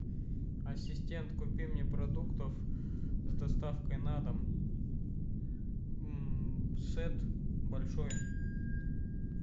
ассистент купи мне продуктов с доставкой на дом сет большой